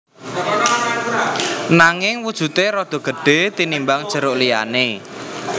Nanging wujudé rada gedhé tinimbang jeruk liyané